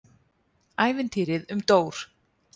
ÆVINTÝRIÐ UM DÓR